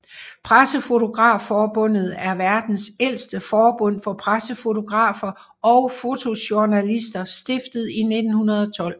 Pressefotografforbundet er verdens ældste forbund for pressefotografer og fotojournalister stiftet i 1912